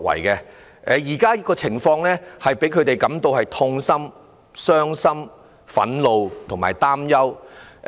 現時的情況令他們感到痛心、傷心、憤怒和擔憂。